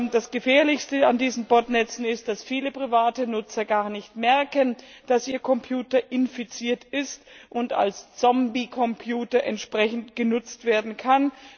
Das Gefährlichste an diesen Botnetzen ist, dass viele private Nutzer gar nicht merken, dass ihr Computer infiziert ist und als Zombie Computer entsprechend genutzt werden kann.